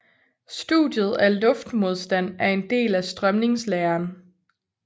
Studiet af luftmodstand er en del af strømningslæren